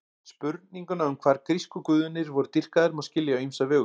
Spurninguna um hvar grísku guðirnir voru dýrkaðir má skilja á ýmsa vegu.